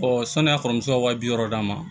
sɔni a kɔrɔmuso ka wa bi wɔɔrɔ d'a ma